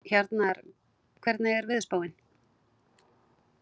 Hjarnar, hvernig er veðurspáin?